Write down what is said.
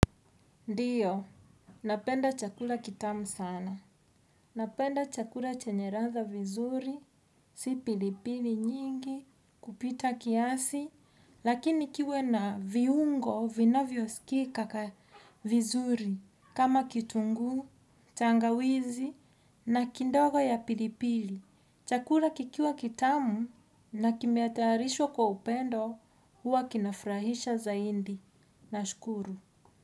Ndiyo, napenda chakula kitamu sana. Napenda chakula chenyeladha a vizuri, si pilipili nyingi, kupita kiasi, lakini kiwe na viungo, vinavyosikika vizuri, kama kitunguu, tangawizi, na kidogo ya pilipili. Chakula kikiwa kitamu, na kimetayarishwa kwa upendo, huwa kinafurahisha zaidi. Nashukuru.